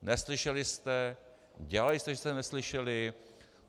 Neslyšeli jste, dělali jste, že jste neslyšeli.